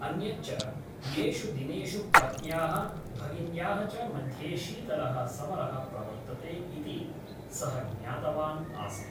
अन्यच्च , एषु दिनेषु पत्न्याः , भगिन्याः च मध्ये शीतलः समरः प्रवर्तते इति सः ज्ञातवान् आसीत् ।